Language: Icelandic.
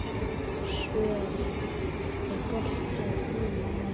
Sören, er bolti á þriðjudaginn?